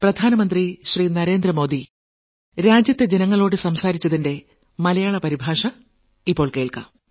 0 ഏഴാം ലക്കം